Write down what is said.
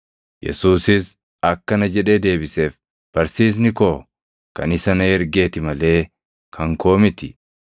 Yesuusis akkana jedhee deebiseef; “Barsiisni koo kan isa na ergeeti malee kan koo miti.